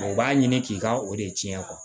u b'a ɲini k'i ka o de tiɲɛ